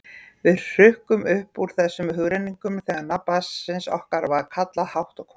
Við hrukkum upp úr þessum hugrenningum þegar nafn barnsins okkar var kallað hátt og hvellt.